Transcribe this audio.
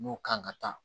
N'o kan ka taa